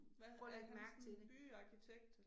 Hvad er han sådan en byarkitekt eller?